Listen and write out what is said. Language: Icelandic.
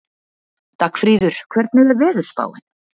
Dagfríður, hvernig er veðurspáin?